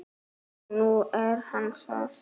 Og nú er hann það.